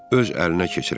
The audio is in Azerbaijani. öz əlinə keçirər.